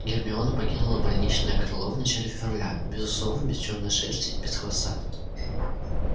гермиона покинула больничное крыло в начале февраля без усов без чёрной шерсти без хвоста